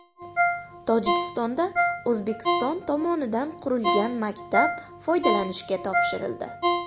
Tojikistonda O‘zbekiston tomonidan qurilgan maktab foydalanishga topshirildi .